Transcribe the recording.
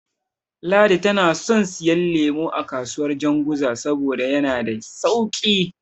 Ladi tana son siyo lemo a kasuwar Janguza saboda yana da sauƙi.